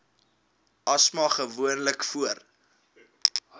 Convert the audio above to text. asma gewoonlik voor